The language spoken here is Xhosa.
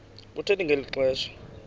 kuthe ngeli xesha